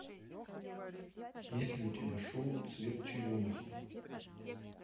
есть ли у тебя шоу цвет черемухи